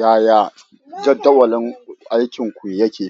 Yaya jadawalin aikinku yake?